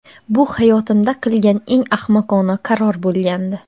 Bu hayotimda qilgan eng ahmoqona qaror bo‘lgandi.